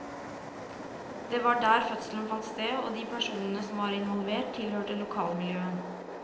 Det var der fødselen fant sted, og de personene som var involvert, tilhørte lokalmiljøet.